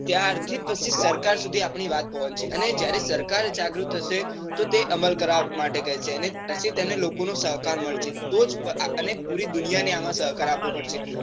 ત્યાર થી જ પછી સરકાર સુધી આપણી વાત પહોંચશે. અને જયારે સરકાર જાગૃત થશે. તો તે અમલ કરવા માટે કેસે. અને પછી તેને લોકો નો સહકાર મળશે. અને પુરી દુનિયાને આમ સહકાર આપવો પડશે.